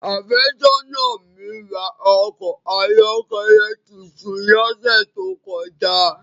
Áfesona mi ra a ọkọ ayọkẹlẹ titun lọsẹ to kọja.